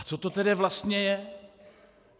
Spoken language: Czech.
A co to tedy vlastně je?